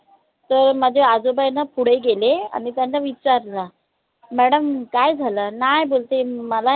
ते माझे आजोबा आय न पुढे गेले आणि त्यांना विचारलं madam काय झालं? नाय बोलते